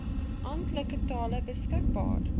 amptelike tale beskikbaar